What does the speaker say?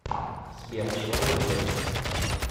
сбер чего вы ждете